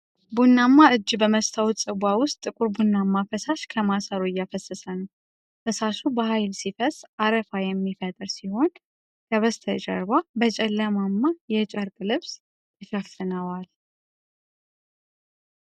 ቡናማ እጅ በመስታወት ጽዋ ውስጥ ጥቁር ቡናማ ፈሳሽ ከማሰሮ እያፈሰሰ ነው። ፈሳሹ በኃይል ሲፈስ አረፋ የሚፈጥር ሲሆን፣ ከበስተጀርባ በጨለማማ የጨርቅ ልብስ የተሸፈነዉዋል።